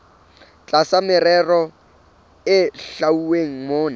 tlasa merero e hlwauweng mona